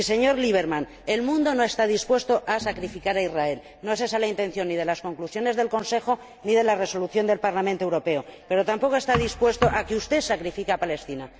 Y, señor Lieberman, el mundo no está dispuesto a sacrificar a Israel, no es esa la intención ni de las conclusiones del Consejo ni de la Resolución del Parlamento Europeo, pero tampoco está dispuesto a que usted sacrifique a Palestina.